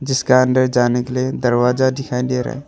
जिसका अंदर जाने के लिए दरवाजा दिखाई दे रहा है।